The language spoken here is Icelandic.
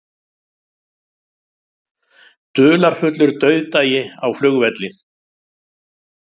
Dularfullur dauðdagi á flugvelli